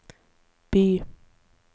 by